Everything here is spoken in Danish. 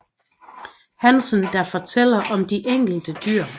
Hansen der fortæller om de enkelte dyr